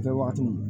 Kɛwagatiw